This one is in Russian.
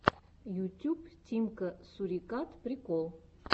ютюб тимка сурикат прикол